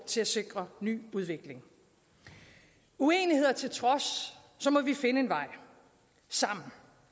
til at sikre ny udvikling uenigheder til trods må vi finde en vej sammen